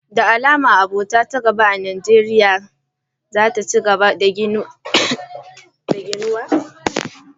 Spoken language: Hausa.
Da alama abota ta gaba a Najeriya za ta ci gaba da ginawa bisa kyakkyawar fahimtar al'umma da ɗabi'u.